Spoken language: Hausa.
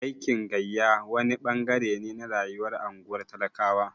Aikin gayya wani ɓangare ne na rayuwar unguwar talakawa.